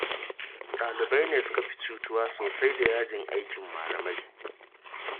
Ɗalibai ne suka fi cutuwa sosai da yajin aikin malamai.